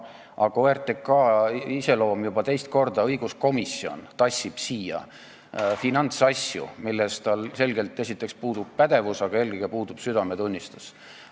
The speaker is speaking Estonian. OTRK iseloomust rääkides: juba teist korda tassib õiguskomisjon siia finantsasju, milles tal esiteks puudub pädevus, aga eelkõige puudub tal südametunnistus.